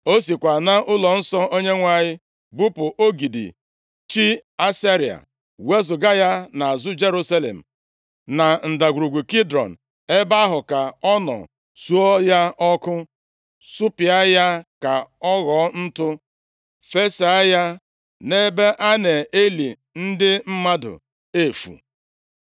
O sikwa nʼụlọnsọ Onyenwe anyị bupụ ogidi chi Ashera, + 23:6 Ashera bụ chi ndị Kenan. Nʼoge Hezekaya na-achị Juda, o gbuturu ogidi a, ma Manase wughachiri ya nʼoge nke ya dị ka eze. \+xt 2Ez 18:4; 2Ez 21:3-5\+xt* wezuga ya nʼazụ Jerusalem, na Ndagwurugwu Kidrọn. Ebe ahụ ka ọ nọ suo ya ọkụ, supịa ya ka ọ ghọọ ntụ, fesaa ya nʼebe a na-eli ndị mmadụ efu.